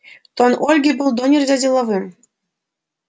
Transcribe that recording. тон ольги был донельзя деловым